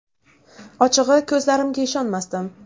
Ochig‘i, ko‘zlarimga ishonmasdim.